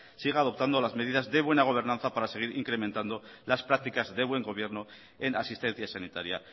siga adoptando las medidas de buena gobernanza para seguir incrementando las prácticas de buen gobierno en asistencia sanitaria